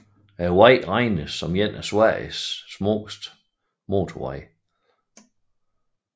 Vejen regnes som en af Sveriges smukkeste motorveje